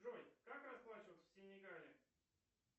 джой как расплачиваться в сенегале